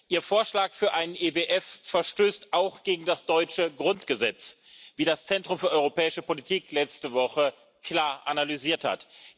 Ihr Vorschlag für einen EWF verstößt auch gegen das deutsche Grundgesetz, wie das Centrum für Europäische Politik letzte Woche klar analysiert hat.